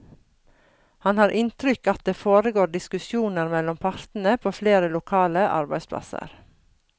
Han har inntrykk at det foregår diskusjoner mellom partene på flere lokale arbeidsplasser.